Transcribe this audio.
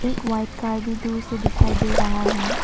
एक white car भी दूर से दिखाई दे रहा है।